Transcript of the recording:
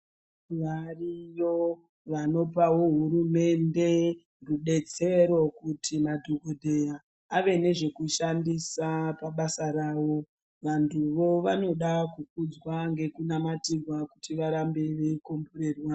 Variyo vanopawo hurumende rubetsero kuti madhokodzeya ave nezvekushandisa pabasa rao vanthuo vanoda kukudzwa ngekuvanamatirwa kuti varambe veikomborerwa.